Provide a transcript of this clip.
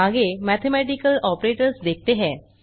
आगे mathematical operators देखते हैं